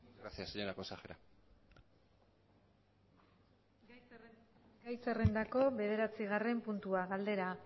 gracias señora consejera gai zerrendako bederatzigarren puntua galdera